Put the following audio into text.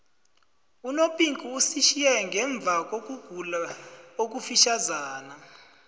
unopinki usitjhiye ngemvakokugula okufitjhazana